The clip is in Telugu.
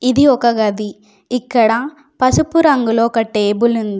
ఇది ఒక గది ఇక్కడ పసుపు రంగులో ఒక టేబుల్ ఉంది.